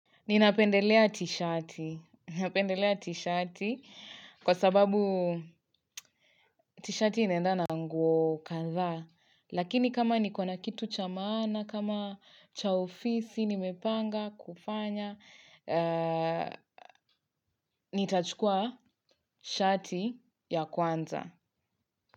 Ninapendelea t-shati kwa sababu t-shati inaendana na nguo kandha. Lakini kama niko na kitu cha maana, kama cha ofisi, nimepanga, kufanya, nitachukua shati ya kwanza.